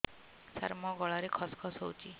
ସାର ମୋ ଗଳାରେ ଖସ ଖସ ହଉଚି